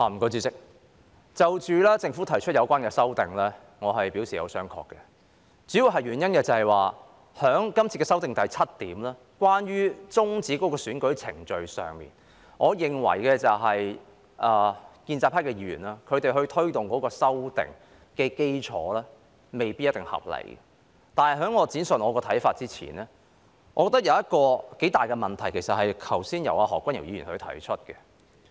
主席，就着政府提出的有關修訂，我是表示有商榷的，主要原因是，就修訂中有關終止選舉程序方面，我認為建制派議員在推動修訂的基礎未必一定合理，但在我闡述看法前，我認為有一個頗大的問題，而這問題是由何君堯議員剛才提出的。